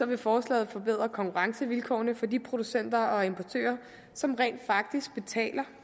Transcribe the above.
vil forslaget forbedre konkurrencevilkårene for de producenter og importører som rent faktisk betaler